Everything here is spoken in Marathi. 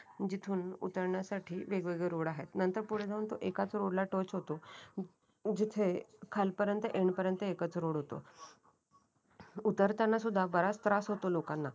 जिथून उतरण्यासाठी वेगवेगळे रोड आहे. नंतर पुढे जाऊन तो एकाच रोडला टच होतो. जिथे खालपर्यंत एंड पर्यंत एकच रोड होत. उतरताना सुद्धा बराच त्रास होतो लोकांना